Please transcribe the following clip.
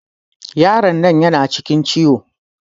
Yaron nan yana cikin ciwo.